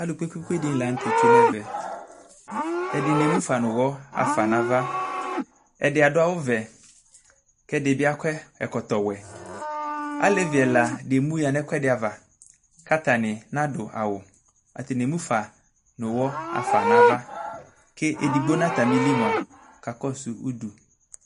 Alʋ kpekpekpe diɩnɩ la n'tɛ tsue m'ɛvɛ, ɛdɩnɩ emufa n'ʋwɔ ɣafa n'ava, ɛdɩ adʋ awʋ vɛ, k'ɛdɩ bɩ akɔ ɛkɔtɔ wɛ Alevi ɛla dɩ emuɣa nʋ ɛkʋɛdɩ ava, k'atanɩ n'adʋ awʋ, atanɩ emufa nʋ ʋwɔ ɣafa n'ava ke edigbo n'atamili mua kakɔsʋ udu